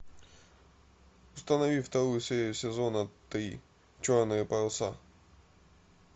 установи вторую серию сезона три черные паруса